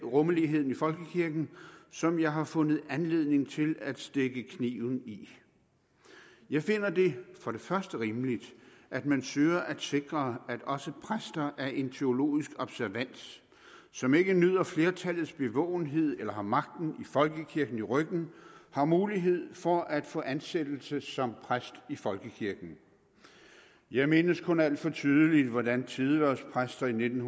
rummeligheden i folkekirken som jeg har fundet anledning til at stikke kniven i jeg finder det for det første rimeligt at man søger at sikre at også præster af en teologisk observans som ikke nyder flertallets bevågenhed eller har magten i folkekirken i ryggen har mulighed for at få ansættelse som præst i folkekirken jeg mindes kun alt for tydeligt hvordan tidehvervspræster i nitten